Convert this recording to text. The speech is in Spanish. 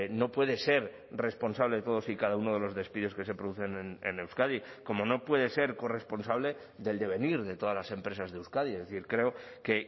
no puede ser responsable de todos y cada uno de los despidos que se producen en euskadi como no puede ser corresponsable del devenir de todas las empresas de euskadi es decir creo que